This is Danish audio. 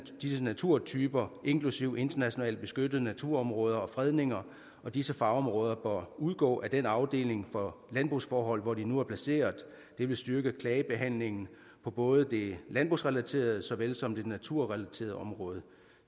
disse naturtyper inklusive internationalt beskyttet naturområde og fredninger og disse fagområder bør udgå af den afdeling for landbrugsforhold hvor de nu er placeret det vil styrke klagebehandlingen på både det landbrugsrelaterede såvel som det naturrelaterede område